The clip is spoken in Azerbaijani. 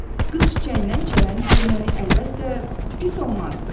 qız çiçəyindən çələng hörmək əlbəttə pis olmazdı.